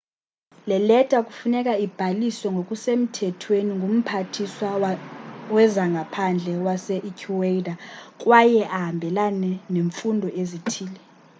le leta kufuneka ibhaliswe ngokusemthethweni ngumphathiswa wezangaphandle wase-ecuador kwaye ahambelane neemfuno ezithile